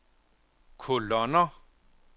kolonner